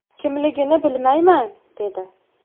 Kimligini bilmayman”, dedi.